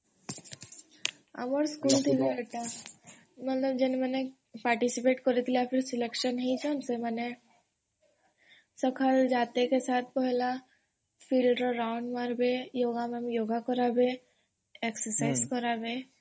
ଆମର୍ ସ୍କୁଲରେ ଥିଲା ଏଟା ମାନେ ଯଉମାନେ participate କରିଛନ selection ହେଇଛନ ସକାଳୁ ଯାତେ କେ ପହେଲା field ରେ round ମାରବେ yoga କରାବେ exercise କରାବେ